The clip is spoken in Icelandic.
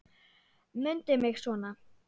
Mundu mig svona.